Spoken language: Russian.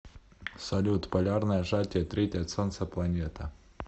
салют полярное сжатие третья от солнца планета